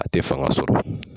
A te fanga sɔrɔ.